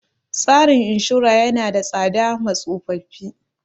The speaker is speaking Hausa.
Tsarin inshora ya na da tsada ma tsofaffi